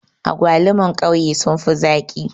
Agwaluman ƙauye sun fi zaƙi